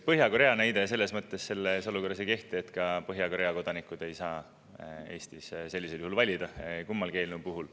Põhja-Korea näide selles olukorras ei kehti, sest ka Põhja-Korea kodanikud ei saa Eestis sellisel juhul valida, kummagi eelnõu puhul.